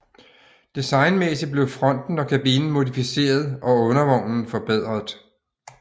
Designmæssigt blev fronten og kabinen modificeret og undervognen forbedret